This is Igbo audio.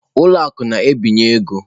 Ụlọ akụ na-ebinye ego.